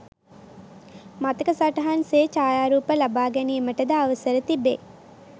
මතක සටහන් සේ ඡායාරූප ලබාගැනීමට ද අවසර තිබේ.